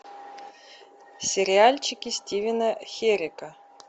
сериальчики стивена херека